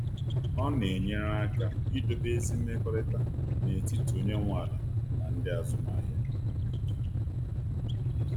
Ọ na enyere aka idobe ezi mmekọrịta n’etiti onye nwe ala na ndị azụmahịa.